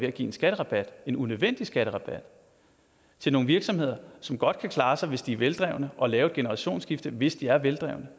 at give en skatterabat en unødvendig skatterabat til nogle virksomheder som godt kan klare sig hvis de er veldrevne og lave et generationsskifte hvis de er veldrevne